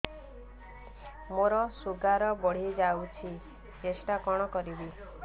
ମୋର ଶୁଗାର ବଢିଯାଇଛି ଟେଷ୍ଟ କଣ କରିବି